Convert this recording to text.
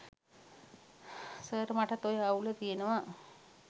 sir මටත් ඔය අවුල තියනව